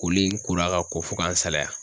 Koli in kola ka ko fo ka n salaya.